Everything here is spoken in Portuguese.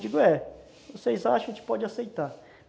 Digo, é, vocês acham, a gente pode aceitar.